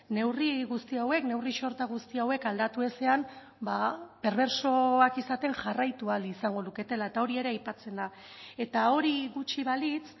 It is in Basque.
neurri guzti hauek neurri sorta guzti hauek aldatu ezean perbertsoak izaten jarraitu ahal izango luketela eta hori ere aipatzen da eta hori gutxi balitz